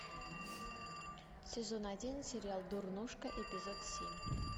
сезон один сериал дурнушка эпизод семь